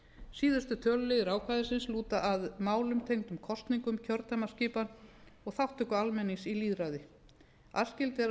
síðustu töluliðir ákvæðisins lúta að málum tengdum kosningum kjördæmaskipan og þátttöku almennings í lýðræði æskilegt er að